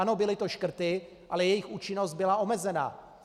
Ano, byly to škrty, ale jejich účinnost byla omezená.